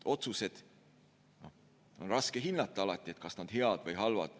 Otsuste puhul on alati raske hinnata, kas nad on head või halvad.